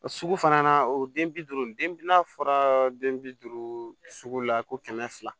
O sugu fana na o den bi duuru den n'a fɔra den bi duuru sugu la ko kɛmɛ fila